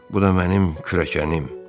Bu da mənim kürəkənim.